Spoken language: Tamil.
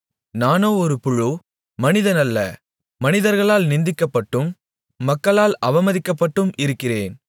நானோ ஒரு புழு மனிதன் அல்ல மனிதர்களால் நிந்திக்கப்பட்டும் மக்களால் அவமதிக்கப்பட்டும் இருக்கிறேன்